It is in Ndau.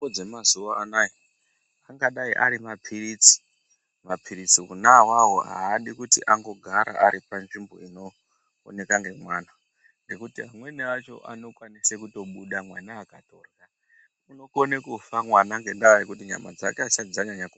Mitombo dzamazuva anaya angadai ari maphiritsi maphiritsi onaavavo haadi kuti angogara aripanzvimbo inooneka ngemwana. Nekuti amweni acho anokwanisa kutobuda mwana akatorya unokone kufa mwana ngendaa yekuti nyama dzake hadzisati dzanyanya ku.